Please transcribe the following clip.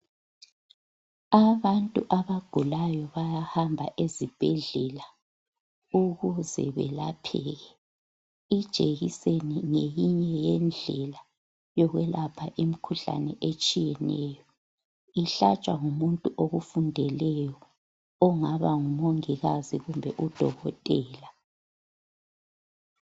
Abantu abagulayo bayahamba ezibhedlela ukuze belapheke. Ijekiseni ngeyinye yendlela yokwelapha imikhuhlane etshiyeneyo. Ihlatshwa ngumuntu okufundeleyo ongaba ngumongikazi kumbe udokotela.